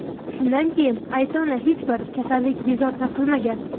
Shundan keyin qayta uni hech bir kasallik bezovta qilmagan.